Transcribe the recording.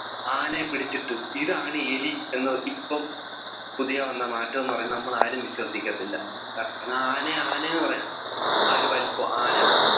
ആനയെ പിടിച്ചിട്ട് ഇതാണ് എലി എന്ന് ഇപ്പോ പുതിയ വന്ന മാറ്റം എന്ന് പറഞ്ഞ നമ്മൾ ആരും വിശ്വസിക്കത്തില്ല കാരണം ആനയെ ആന എന്ന് പറയാം ആ ഒരു വലിപ്പം ആന